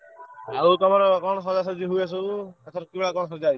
ଆଉ ତମର କଣ ସଜାସଜି ହୁଏ ସବୁ ଏଥର ଚୁଳା କଣ ସଜା ହେଇଚି?